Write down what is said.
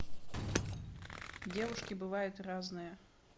девушки бывают разные